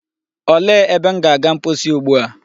Olee ebe m ga-aga mposi ugbua?